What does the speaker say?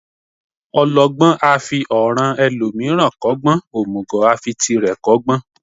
Ọlọgbọ́n a fi ọ̀ràn ẹlòmíràn kọ́gbọ́n, òmùgọ̀ a fi tirẹ̀ kọ́gbọ́n.